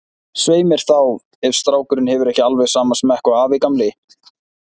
Svei mér þá, ef strákurinn hefur ekki alveg sama smekk og afi gamli.